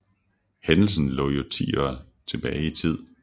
Hændelsen lå jo ti år tilbage i tid